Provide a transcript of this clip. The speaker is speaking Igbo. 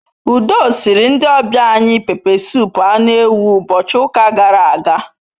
Udu siiri ndi obia anyi pepe sup anu ewu ubochi uka gara aga